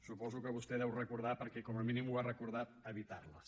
suposo que vostè les deu recordar perquè com a mínim ha recordat evitar les